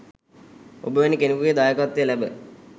ඔබ වැනි කෙනෙකුගේ දායකත්වය ලැබ